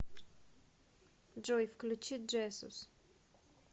джой включи джесус